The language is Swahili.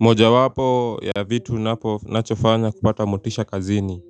Moja wapo ya vitu napo nachofanya kupata motisha kazini